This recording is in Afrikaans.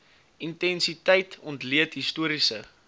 intensiteit ontleed historiese